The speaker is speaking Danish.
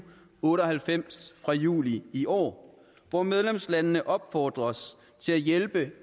otte og halvfems fra juli i år hvor medlemslandene opfordres til at hjælpe